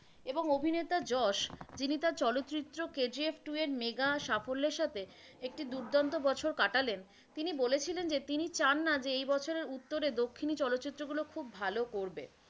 এবং অভিনেতা যশ, যিনি তার চলচিত্র কেজিএফ টূ এর মেগা সাফল্যের সাথে একটি দুর্দান্ত বছর কাটালেন তিনি বলেছিলেন যে তিনি চান না যে এই বছরের উত্তরে দক্ষিণী চলচ্চিত্রগুলো খুব ভালো করবে।